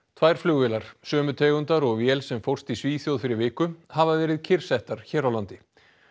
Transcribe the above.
tvær flugvélar sömu tegundar og vél sem fórst í Svíþjóð fyrir viku hafa verið kyrrsettar hér á landi